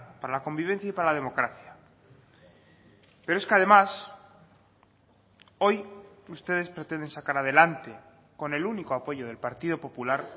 para la convivencia y para la democracia pero es que además hoy ustedes pretenden sacar adelante con el único apoyo del partido popular